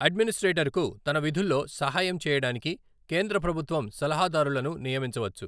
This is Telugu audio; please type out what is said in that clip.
అడ్మినిస్ట్రేటర్కు తన విధుల్లో సహాయం చేయడానికి కేంద్ర ప్రభుత్వం సలహాదారులను నియమించవచ్చు.